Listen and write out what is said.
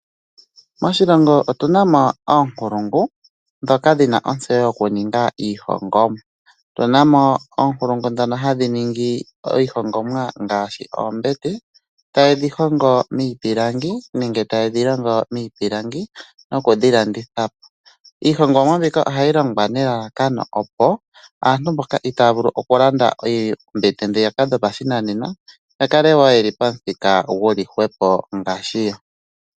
Moshilongo otunamo oonkulungu dhoka dhina ontseyo yoku ninga iihongomwa. Otunamo oonkulungu dhono hadhi ningi iihongomwa ngashi oombete taye dhi hongo miipilangi nenge taye dhi longo miipilangi nokudhi landithapo. Iihongomwa mbika ihayi longwa nelalakano opo aantu mboka itaya vulu oku landa oombete dhopashinanena yakalewo yeli pamuthika guli hwepo ngashi yo.